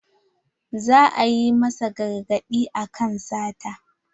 Za a yi masa gargaɗi akan sata.